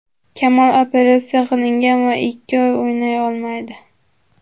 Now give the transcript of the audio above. Kamol operatsiya qilingan va ikki oy o‘ynay olmaydi.